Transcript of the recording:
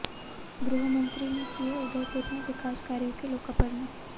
गृहमंत्री ने किए उदयपुर में विकास कार्यों के लोकार्पण